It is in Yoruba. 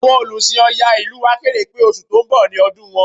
Àwọn Olùsìn Ọya ìlú wa kéde pé oṣù tó ń bọ̀ ni ọdún àwọn